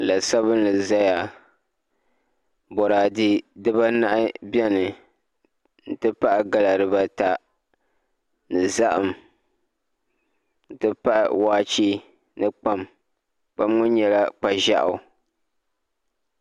La sabinli n ʒɛya boraadɛ dibanahi bɛni n ti pahi gala dibata ni zaham n ti pahi waachɛ ni kpam kpam ŋo nyɛla kpa ʒiɛɣu